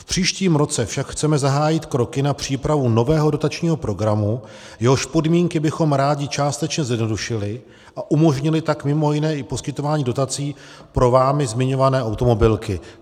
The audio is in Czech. V příštím roce však chceme zahájit kroky na přípravu nového dotačního programu, jehož podmínky bychom rádi částečně zjednodušili, a umožnili tak mimo jiné i poskytování dotací pro vámi zmiňované automobilky.